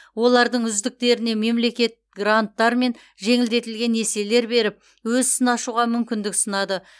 олардың үздіктеріне мемлекет гранттар мен жеңілдетілген несиелер беріп өз ісін ашуға мүмкіндік ұсынады